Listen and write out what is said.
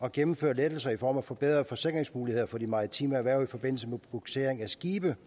at gennemføre lettelser i form af forbedrede forsikringsmuligheder for de maritime erhverv i forbindelse med bugsering af skibe